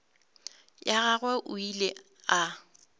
ya gagwe o ile a